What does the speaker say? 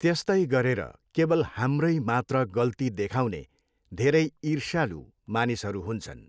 त्यस्तै गरेर केवल हाम्रै मात्र गल्ती देखाउने धेरै इर्ष्यालु मानिसहरू हुन्छन्।